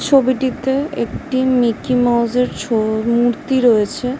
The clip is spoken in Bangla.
ছবিটিতে একটি মিকি মাউস -এর ছো-অ- মূর্তি রয়েছে ।